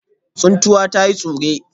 Tsuntsuwa ta yi tsure